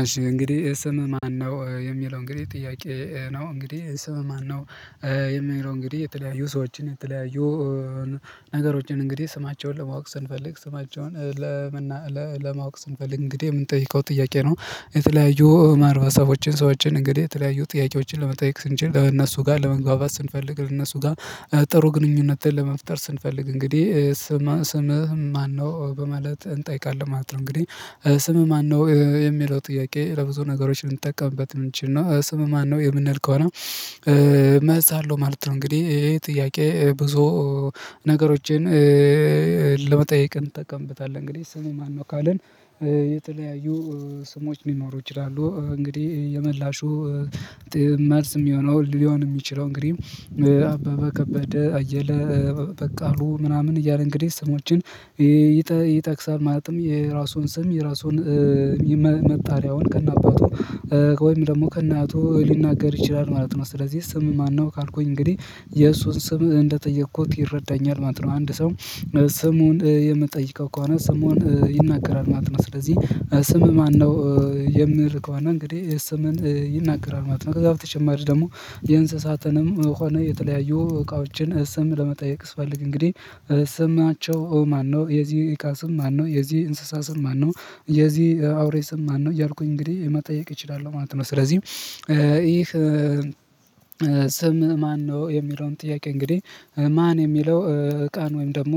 እሺ እንግዲህ ስምህ ማነው? የሚለው እንግዲህ ጥያቄ ነው እንግዲህ ስምህ ነው። የሚለው እንግዲህ የተለያዩ ሰዎችን የተለያዩ ነገሮችን እንግዲህ ስማቸውን ለማወቅ ስንፈልግ ስማቸውን ለመና ለማወቅ ስንፈልግ እንግዲህ የምንጠይቀው ጥያቄ ነው። የተለያዩ ማህበረሰቦችን ሰዎችን እንግዲህ የተለያዩ ጥያቄዎችን ለመጠየቅ ስንችል ለእነሱ ጋር ለመግባባት ስንፈልግ ለእነሱ ጋር ጥሩ ግንኙነትን ለመፍጠር ስንፈልግ እንግዲህ ስምህ ማነው በማለት እንጠይቃለን ማለት ነው። እንግዲህ ስም ማነው የሚለው ጥያቄ ለብዙ ነገሮች ልንጠቀምበት ልንችል ነው። ስም ማነህ የምንል ከሆነ። መልስ አለው ማለት ነው። እንግዲህ ይሄ ጥያቄ ብዙ ነገሮችን ለመጠየቅ እንጠቀምበታለን። እንግዲህ ስሜ ማነው ካልን የተለያዩ ስሞች ሊኖሩ ይችላሉ። እንግዲህ የመላሹ መልስ የሚሆነው ሊሆን የሚችለው እንግዲህ አበበ ከበደ አየለ በቃሉ ምናምን እያለ እንግዲህ ስሞችን ይጠቅሳል ማለትም የራሱን ስም የራሱን መጣሪያውን ከነአባቱ ወይም ደግሞ ከናቱ ሊናገር ይችላል ማለት ነው። ስለዚህ ስምህ ማነው ካልኩኝ እንግዲህ የእሱን ስምህ እንደጠየኩት ይረዳኛል ማለት ነው። አንድ ሰው ስሙን የምትጠይቀው ከሆነ ስሙን ይናገራል ማለት ነው። ስለዚህ ስም ማነው የምል ከሆነ እንግዲህ የሰምን ይናገራል ማለት ነው። ከዛ በተጨማሪ ደግሞ የእንስሳትንም ሆነ የተለያዩ እቃዎችን ስም ለመጠየቅ ስፈልግ እንግዲህ ስም ማነው የዚህ ኢቃስም ማነው የዚህ እንስሳ ስም ማነው የዚህ አውሬ ስም ማነው ያልኩኝ እንግዲህ መጠየቅ እችላለሁ ማለት ነው። ስለዚህ ይህ ስምህ ማነው የሚለውን ጥያቄ እንግዲህ ማን የሚለው እቃን ወይም ደግሞ